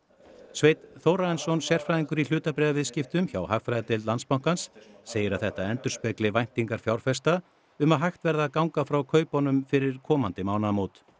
Sveinn Þórarinsson sérfræðingur í hlutabréfaviðskiptum hjá hagfræðideild Landsbankans segir að þetta endurspegli væntingar fjárfesta um að hægt verði að ganga frá kaupunum fyrir komandi mánaðamót